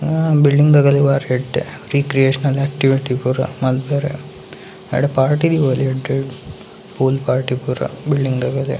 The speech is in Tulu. ಬಿಲ್ಡಿಂಗ್‌ದ ಗಲಿ ಬಾರಿ ಎಡ್ಡೆ ರೀಕ್ರಿಯೇಶನಲ್ ಆಕ್ಟಿವಿಟಿ‌ ಪೂರ ಮಾಲ್ಪೇರೆ ಆಡೆ ಪಾರ್ಟಿ ದೀವೊಲಿ ಎಡ್ಡೆಡು ಪೂಲ್‌ ಪಾರ್ಟಿ ಪೂರಾ ಬಿಲ್ಡಿಂಗ್ದಕ್ಕ್‌ ಲೆಗ್ .